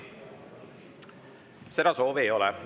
Seda soovi ei ole.